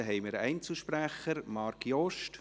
Marc Jost hat als Einzelsprecher das Wort.